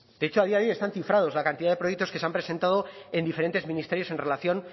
de hecho a día de hoy están cifrados la cantidad de proyectos que se han presentado en diferentes ministerios en relación